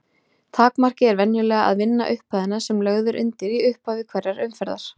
Takmarkið er venjulega að vinna upphæðina sem lögð er undir í upphafi hverrar umferðar.